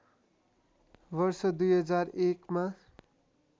वर्ष २००१ मा